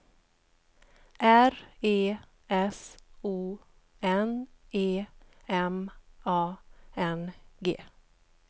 R E S O N E M A N G